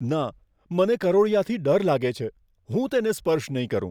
ના! મને કરોળિયાથી ડર લાગે છે. હું તેને સ્પર્શ નહીં કરું.